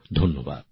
ধন্যবাদ